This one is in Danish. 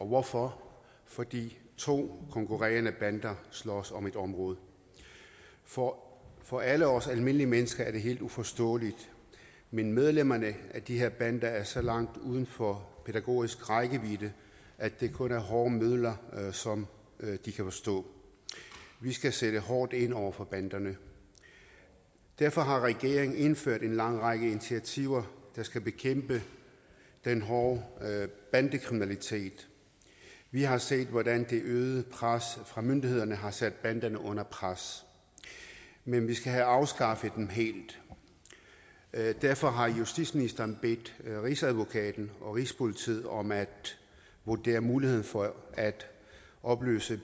hvorfor fordi to konkurrerende bander slås om et område for for alle os almindelige mennesker er det helt uforståeligt men medlemmerne af de her bander er så langt uden for pædagogisk rækkevidde at det kun er hårde midler som de kan forstå vi skal sætte hårdt ind over for banderne derfor har regeringen indført en lang række initiativer der skal bekæmpe den hårde bandekriminalitet vi har set hvordan det øgede pres fra myndighederne har sat banderne under pres men vi skal have afskaffet dem helt derfor har justitsministeren bedt rigsadvokaten og rigspolitiet om at vurdere muligheden for at opløse